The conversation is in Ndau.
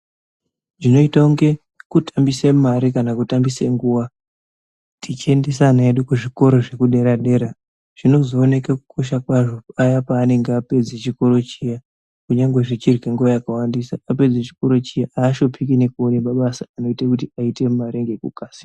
Zvinoite kunge kutambise mare kana kutambise nguwa tichiendesa ana edu kuzvikora zvepaderadera zvinozooneka kukosha kwazvo paya pavanenge vapedza chikora chiya kunyange kunyane zvichirya nguva yakrebesa. Vapedza chikora chiya aaneseki ngekutsvake mabasa anovape mare ngekukasira.